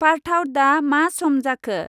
पार्थाव दा मा सम जाखो?